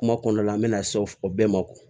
Kuma kɔnɔna la an bɛna se o bɛɛ ma